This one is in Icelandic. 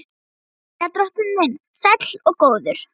Jæja, drottinn minn sæll og góður.